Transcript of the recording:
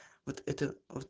вот это